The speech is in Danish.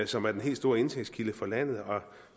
som er den helt store indtægtskilde for landet og